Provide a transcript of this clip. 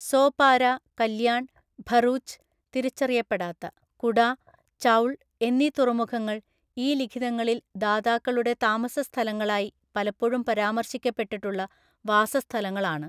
സോപാര, കല്യാൺ, ഭറൂച്ച്, (തിരിച്ചറിയപ്പെടാത്ത) കുഡ, ചൗൾ എന്നീ തുറമുഖങ്ങൾ ഈ ലിഖിതങ്ങളിൽ ദാതാക്കളുടെ താമസസ്ഥലങ്ങളായി പലപ്പോഴും പരാമർശിക്കപ്പെട്ടിട്ടുള്ള വാസസ്ഥലങ്ങള്‍ ആണ്.